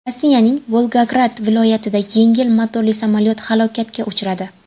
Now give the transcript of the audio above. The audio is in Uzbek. Rossiyaning Volgograd viloyatida yengil motorli samolyot halokatga uchradi.